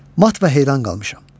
Mat və heyran qalmışam.